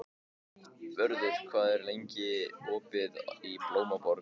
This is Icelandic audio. Vörður, hvað er lengi opið í Blómaborg?